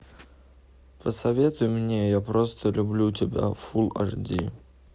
посоветуй мне я просто люблю тебя фул аш ди